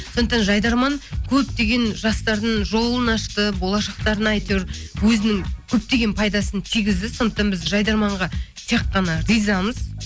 сондықтан жайдарман көптеген жастардың жолын ашты болашақтарына әйтеуір өзінің көптеген пайдасын тигізді сондықтан біз жайдарманға тек қана ризамыз